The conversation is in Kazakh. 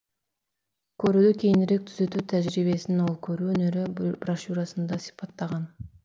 көруді кейінірек түзету тәжірибесін ол көру өнері брошюрасында сипаттаған